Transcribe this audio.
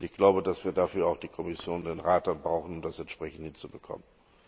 Ich glaube, dass wir dafür auch die Kommission und den Rat brauchen, um das entsprechend hinzubekommen.